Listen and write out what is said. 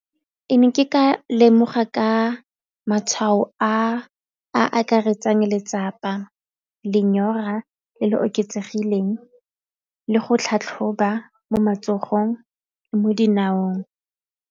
Ke ne ke ka lemoga ka matshwao a a akaretsang letsapa, lenyora le le oketsegileng le go tlhatlhoba mo matsogong mo dinaong.